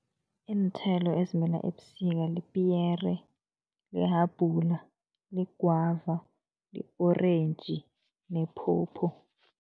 Iinthelo ezimila ebusika lipiyere, lihabhula, ligwava, li-orentji nephopho.